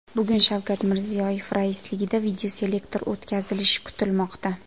Bugun Shavkat Mirziyoyev raisligida videoselektor o‘tkazilishi kutilmoqda.